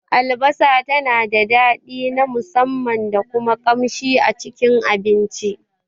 Albasa tana da daɗi na musamman da kuma kamshi a Cikin abinci.